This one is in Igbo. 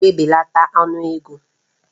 Ága ebelata ọnụ ego?